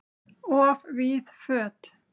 Of víð föt